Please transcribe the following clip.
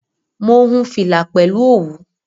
Mo hun fìlà pẹ̀lú òwú